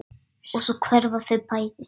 Og svo hverfa þau bæði.